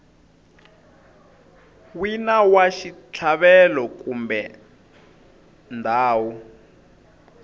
wina wa xitlhavelo kumbe ndhawu